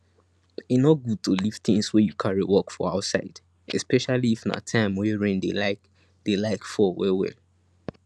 e no good to leave things wey you carry work for outsideespecially if na time wey rain dey like dey like fall well well